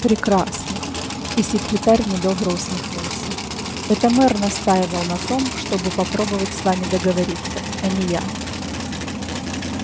прекрасно и секретарь недобро усмехнулся это мэр настаивал на том чтобы попробовать с вами договориться а не я